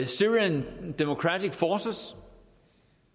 syrian democratic forces